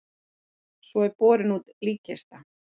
Svo er borin út líkkista.